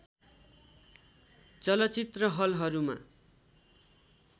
चलचित्र हलहरूमा